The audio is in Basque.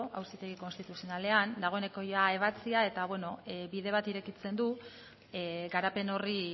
auzitegi konstituzionalean dagoeneko ebatzia eta beno bide bat irekitzen du garapen horri